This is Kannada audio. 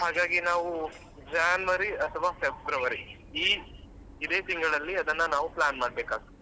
ಹಾಗಾಗಿ ನಾವು January ಅತ್ವ February ಈ ಇದೆ ತಿಂಗಳಲ್ಲಿ ಅದನ್ನ ನಾವ್ plan ಮಾಡ್ಬೇಕಾಗ್ತದೆ.